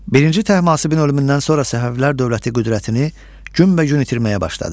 Birinci Təhmasibin ölümündən sonra Səfəvilər dövləti qüdrətini günbəgün itirməyə başladı.